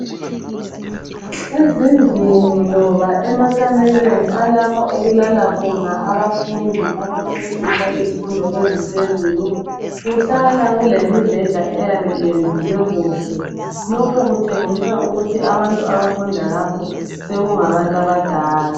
Ezindlini loba emakamelweni alapha okulala khona abafundi abaqeqetshe izifundo eziphezulu kuhlala kulemibheda eyabe iyendluwe kuhle. Lokhu kutshengisa ukuthi abantu abafunda lapho sekungabantu abadala.